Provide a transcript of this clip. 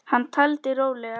Hann taldi rólega